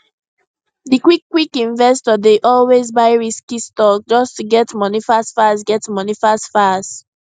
di quickquick investor dey always buy risky stock just to get money fastfast get money fastfast